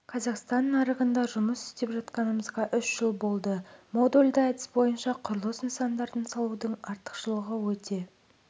қазақстан нарығында жұмыс істеп жатқанымызға үш жыл болды модульді әдіс бойынша құрылыс нысандарын салудың артықшылығы өте